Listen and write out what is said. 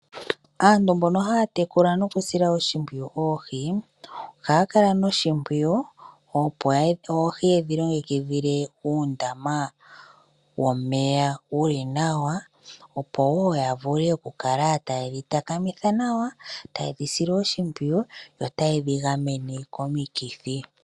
Aantu mbona haya tekula nokusila oshimpwiyu oohi, ohaya kala noshimpwiyu opo oohi yedhi longekidhile uundama wo meya wuli nawa, opo wo ya vule okukala taye dhi takamitha nawa , taye dhisile oshimpwiyu yo taye dhi gamene komikithi.